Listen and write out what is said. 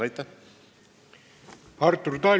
Artur Talvik, palun!